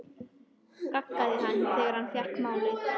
gaggaði hann þegar hann fékk málið.